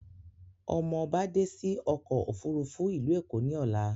Ọmọ ọba dé sí òkò òfúrùfú ìlú Èkó ní Ọlá